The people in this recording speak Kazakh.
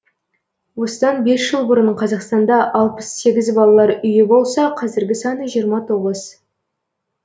осыдан бес жыл бұрын қазақстанда алпыс сегіз балалар үйі болса қазіргі саны жиырма тоғыз